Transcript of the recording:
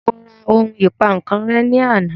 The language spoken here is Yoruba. Mo ra ohun ìpankan rẹ́ ní àná